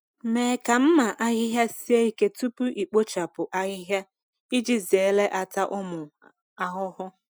Mee ka mma ahịhịa sie ike tupu ikpochapụ ahịhịa iji zere ata ụmụ ahụhụ.